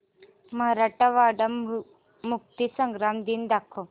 मराठवाडा मुक्तीसंग्राम दिन दाखव